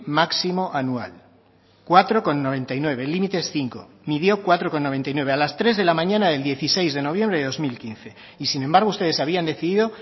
máximo anual cuatro coma noventa y nueve el límite es cinco midió cuatro coma noventa y nueve a las tres de la mañana del dieciséis de noviembre de dos mil quince y sin embargo ustedes habían decidido